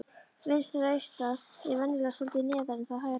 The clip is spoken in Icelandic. Vinstra eistað er venjulega svolítið neðar en það hægra.